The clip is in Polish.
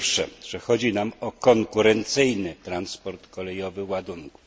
Po pierwsze chodzi nam o konkurencyjny transport kolejowy ładunków.